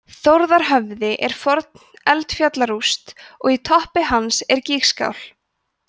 þórðarhöfði er forn eldfjallarúst og í toppi hans er gígskál